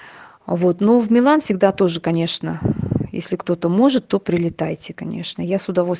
а вот ну в милан всегда тоже конечно если кто-то может то прилетайте конечная я с удовольствием